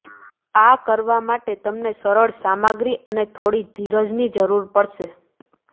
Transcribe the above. આ કરવા માટે તમને સરળ સામગ્રી અને થોડી ધીરજની જરૂર પડશે